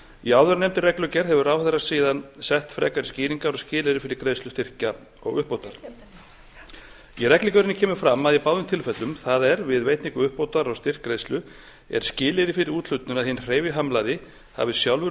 í áðurnefndri reglugerð hefur ráðherra síðan sett frekari skýringar og skilyrði fyrir greiðslu styrkja og uppbótar í reglugerðinni kemur fram að í báðum tilfellum það er við veitingu uppbótar og styrkgreiðslu er skilyrði fyrir úthlutun að hinn hreyfihamlaði hafi sjálfur